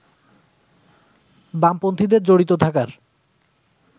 বামপন্থীদের জড়িত থাকার